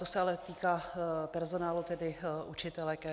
To se ale týká personálu, tedy učitelek.